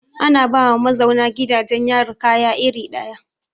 Ana ba ma mazauna gidajen yari kaya iri ɗaya.